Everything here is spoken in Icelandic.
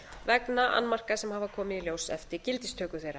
vegna annmarka sem hafa komið í ljós eftir gildistöku þeirra